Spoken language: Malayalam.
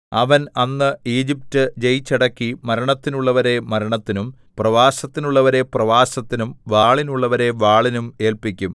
അവൻ അന്ന് ഈജിപ്റ്റ് ജയിച്ചടക്കി മരണത്തിനുള്ളവരെ മരണത്തിനും പ്രവാസത്തിനുള്ളവരെ പ്രവാസത്തിനും വാളിനുള്ളവരെ വാളിനും ഏല്പിക്കും